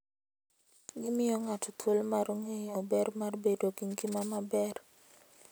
Gimiyo ng'ato thuolo mar ng'eyo ber mar bedo gi ngima maber.